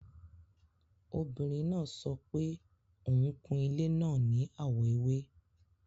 Obìrín náà sọ̀pẹ̀ ọun kún ilẹ̀ náà ní awọ èwè